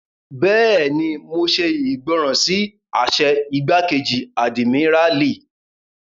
Bẹ́ẹ̀ni, mo ṣe ìgbọràn sí àṣẹ igbákejì àdìmíràlí